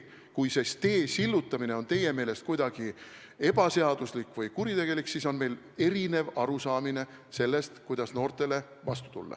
Kui see tee sillutamine on teie meelest kuidagi ebaseaduslik või kuritegelik, siis meil on erinev arusaamine sellest, kuidas noortele vastu tulla.